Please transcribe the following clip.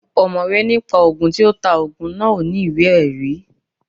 Ọ̀mọ̀wé ní pa Ògùn, tí ó ta Ògùn náà ò ní ìwé ẹ̀rí